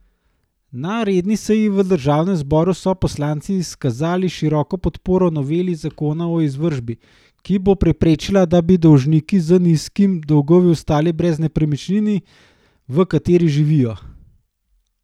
Na redni seji v državnem zboru so poslanci izkazali široko podporo noveli zakona o izvršbi, ki bo preprečila, da bi dolžniki z nizkimi dolgovi ostali brez nepremičnine, v kateri živijo.